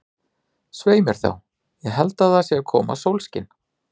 Svei mér þá, ég held að það sé að koma sólskin.